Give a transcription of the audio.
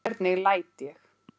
Hvernig læt ég!